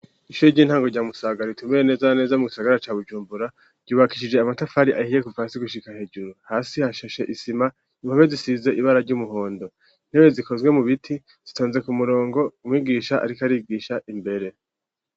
Ishuye ry'intango rya Musaga, ritumbereye neza neza mugisagara ca Bujumbura, ryubakishije amatafari ahiye kuvasi gushika hejuru, hasi hashashe isima, impome zisize ibara ry'umuhondo, intebe zikozwe mu biti zitonze ku murongo, umwigisha ariko arigisha imbere.